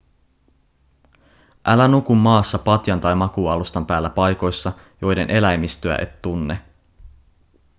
älä nuku maassa patjan tai makuualustan päällä paikoissa joiden eläimistöä et tunne